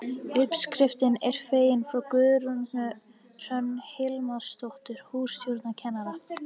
Uppskriftin er fengin frá Guðrúnu Hrönn Hilmarsdóttur hússtjórnarkennara.